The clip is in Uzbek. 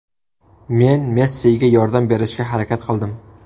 Men Messiga yordam berishga harakat qildim.